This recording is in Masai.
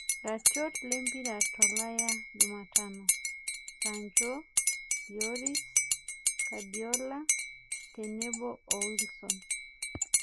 Iratiot lempira tolaya jumatano: sancho, Lloris, kadiola tenebo oo wilison